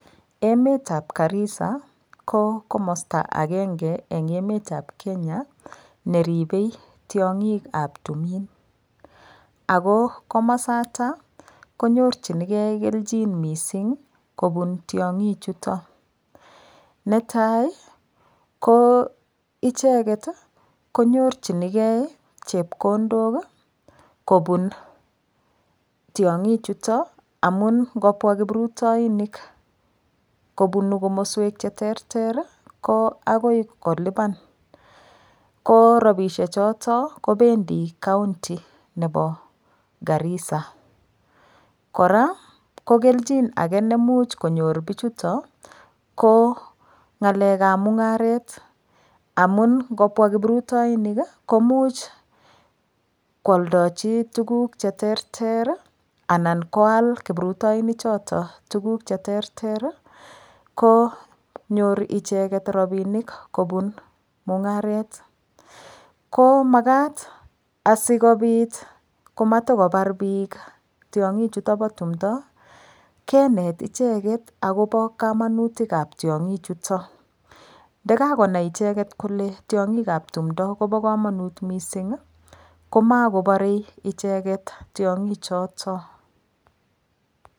Emetab Garisa ko komosta agenge eng' emetab Kenya neribei tiong'ikab tumin ako komosatak konyorchinigei kelchin mising' kobun tiyong'ichuto netai ko icheget konyorchinigei chepkondok kobun tiyong'ichuto amun ngopwa kiprutoinik kobunu komoswek cheterter ko akoi kolipan ko robishechoto kopendi county nebo Garisa kora ko kelchin age ne muuch konyor bichuto ko ng'alekab mung'aret amun ngopwa kiprutoinik komuch kwoldochi tukuk cheterter anan koal kiprutoinik choto tukuk cheterter konyoru icheget rabinik kobun mung'aret ko makat asikobit komatikobar biik tiong'ik chuto bo tumdo keneticheget akobo kamanutikab tiong'ik chuto ndikakonai icheget kole tiyong'ik ab tumdo kobo kamanut mising' komakoborei icheget tiyong'ichoto